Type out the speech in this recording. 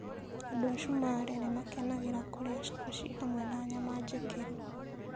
Andũ a Somalia nĩ makenagĩra kũrĩa chapati hamwe na nyama njĩkĩru.